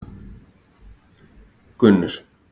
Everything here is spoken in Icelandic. Gunnur